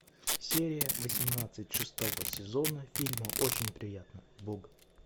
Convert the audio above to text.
серия восемнадцать шестого сезона фильма очень приятно бог